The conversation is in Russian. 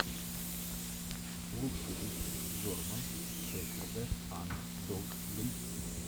лучший выпуск джорман шеферда анд дог бридс